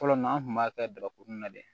Fɔlɔ na an kun b'a kɛ daba kunun na de